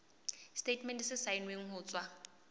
setatemente se saennweng ho tswa